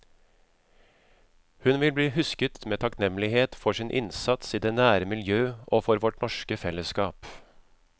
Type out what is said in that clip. Hun vil bli husket med takknemlighet for sin innsats i det nære miljø og for vårt norske fellesskap.